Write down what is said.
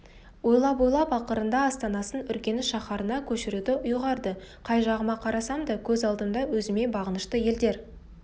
ойлап-ойлап ақырында астанасын үргеніш шаһарына көшіруді ұйғарды қай жағыма қарасам да көз алдымда өзіме бағынышты елдер